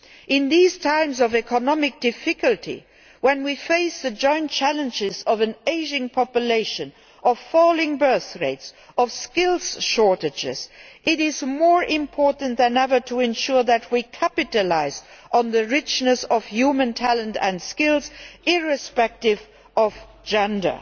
In these times of economic difficulty when we face the joint challenges of an ageing population, of falling birth rates, of skills shortages, it is more important than ever to ensure that we capitalise on the richness of human talent and skills irrespective of gender.